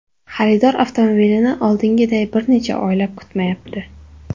Xaridor avtomobilni oldingiday bir necha oylab kutmayapti.